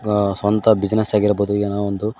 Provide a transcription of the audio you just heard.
ಅ ಸ್ವಂತ ಬಿಸಿನೆಸ್ ಆಗಿರ್ಬೋದು ಏನೋ ಒಂದು--